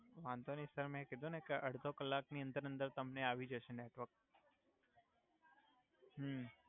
વાંધો નઈ સર મે કિધુ ને કે અડ્ધો કલાક ની અંદર અંદર તમને આવી જસે નેટવર્ક